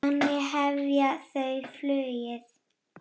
Þannig hefja þau flugið.